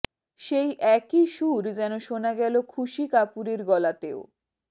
সেই একই সুর যেন শোনা গেল খুসি কাপুরের গলাতেও